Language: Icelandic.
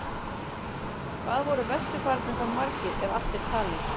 Hvað voru vesturfararnir þá margir, ef allt er talið?